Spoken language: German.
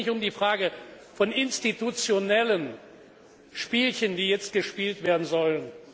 Es geht nicht um die Frage von institutionellen Spielchen, die jetzt gespielt werden sollen.